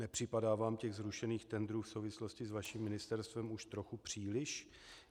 Nepřipadá vám těch zrušených tendrů v souvislosti s vaším ministerstvem už trochu příliš?